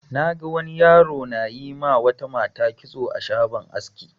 Na ga wani yaro na yi ma wata mata kitso a shagon aski.